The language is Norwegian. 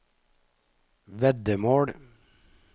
veddemål